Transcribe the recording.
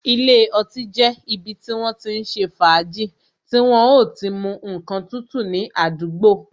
Ilé ọtí jẹ́ ibi tí wọ́n ti ń ṣe fàájì, tí wọ́n o ti mu ǹkan tútù ní àdúgbò.